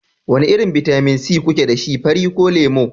wane irin bitamin C kuke da shi, fari ko lemu?